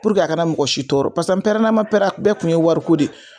a kana mɔgɔ si tɔɔrɔ pasa n pɛrɛnna ma pɛrɛn bɛɛ kun ye wari ko de.